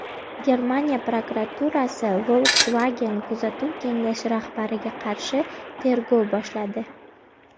Germaniya prokuraturasi Volkswagen kuzatuv kengashi rahbariga qarshi tergov boshladi.